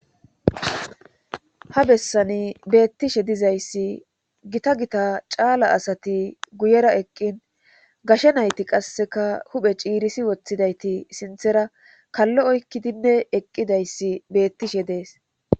ha bessani beettishe dizayssi gita gita caala asati guyera eqqin gashe nayti qasseka huphe ciirisi woththidayti sinthera kallo oykkidinne eqqidayssi beettishe dees